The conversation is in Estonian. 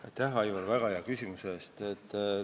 Aitäh, Aivar, väga hea küsimuse eest!